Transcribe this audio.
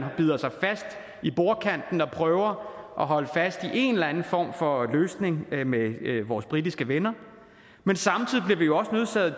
bider sig fast i bordkanten og prøver at holde fast i en eller anden form for løsning med vores britiske venner men samtidig bliver vi jo også nødt til at